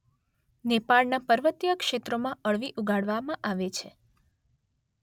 નેપાળના પર્વતીય ક્ષેત્રોમાં અળવી ઉગાડવામાં આવે છે